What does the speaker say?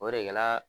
O de kɛla